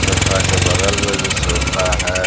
Sofa के बगल में भी सोफा है।